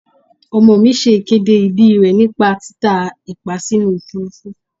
Ọmọ mi ṣe ìkéde ìbí rè nípa títa ìpá sínú Òfurufú.